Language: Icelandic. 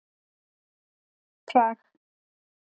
Prag